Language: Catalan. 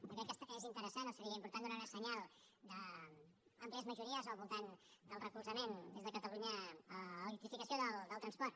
jo crec que és interessant o seria important donar un senyal d’àmplies majories al voltant del recolzament des de catalunya a l’electrificació del transport